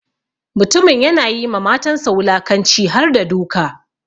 Mutumin ya na yi ma matansa wulakanci harda duka.